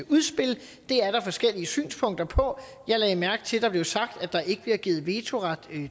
udspil det er der forskellige synspunkter på jeg lagde mærke til at der blev sagt at der ikke bliver givet vetoret